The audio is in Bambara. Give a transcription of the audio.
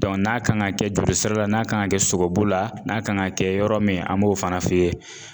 n'a kan ŋa kɛ joli sira la, n'a kan ŋa kɛ sogobu la, n'a kan ŋa kɛ yɔrɔ min an b'o fana f'i ye.